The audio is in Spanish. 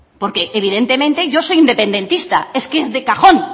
porque evidentemente yo soy independentista